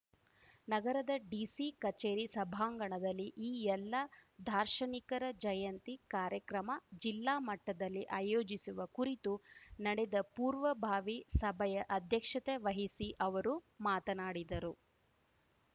ನಗರದ ಡಿಸಿ ಕಚೇರಿ ಸಭಾಂಗಣದಲ್ಲಿ ಈ ಎಲ್ಲ ದಾರ್ಶನಿಕರ ಜಯಂತಿ ಕಾರ್ಯಕ್ರಮ ಜಿಲ್ಲಾ ಮಟ್ಟದಲ್ಲಿ ಆಯೋಜಿಸುವ ಕುರಿತು ನಡೆದ ಪೂರ್ವಭಾವಿ ಸಭೆಯ ಅಧ್ಯಕ್ಷತೆ ವಹಿಸಿ ಅವರು ಮಾತನಾಡಿದರು